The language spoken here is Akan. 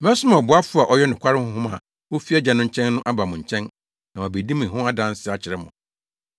“Mɛsoma ɔboafo a ɔyɛ nokware Honhom a ofi Agya no nkyɛn no aba mo nkyɛn na wabedi me ho adanse akyerɛ mo.